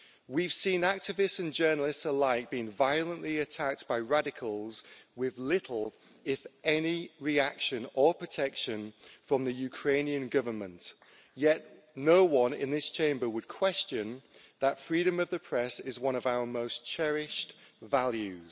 We've seen activists and journalists alike being violently attacked by radicals, with little if any reaction or protection from the Ukrainian Government. Yet no one in this Chamber would question that freedom of the press is one of our most cherished values.